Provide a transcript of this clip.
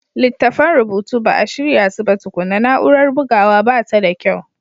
Littattafan rubutu ba a shirya su ba tukuna, na'urar bugawa ba ta da kyau.